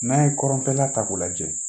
N'a ye kɔrɔnfɛla ta k'o lajɛ